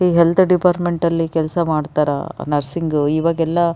ಈ health department ಅಲ್ಲಿ ಕೆಲಸ ಮಾಡ್ತಾರಾ ನರ್ಸಿಂಗ್ ಇವಾಗೆಲ್ಲ --